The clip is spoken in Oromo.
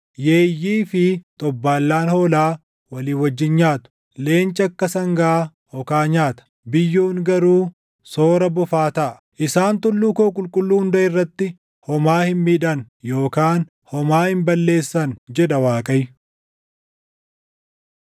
Yeeyyii fi xobbaallaan hoolaa walii wajjin nyaatu; leenci akka sangaa okaa nyaata; biyyoon garuu soora bofaa taʼa. Isaan tulluu koo qulqulluu hunda irratti homaa hin miidhan yookaan homaa hin balleessan” jedha Waaqayyo.